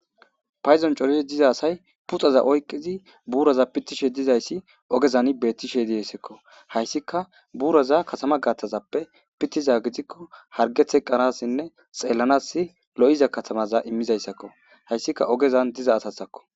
payzon corid diza asay pitoza oyqqizi buuroza pittishe dizayssi ogezan beettishe dessekko hayssika buuroza katama gaaththazappe pittiza gidikko harge teqanasinne xellanas lo'iza katamaza immizayssakko, hayssika ogezan diza asasakko.